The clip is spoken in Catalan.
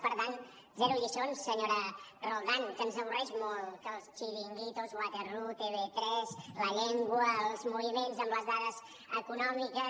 per tant zero lliçons senyora roldán que ens avorreix molt que els chiringuitos waterloo tv3 la llengua els moviments amb les dades econòmiques